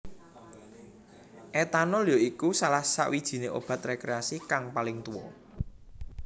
Etanol ya iku salah sawijiné obat rekreasi kang paling tuwa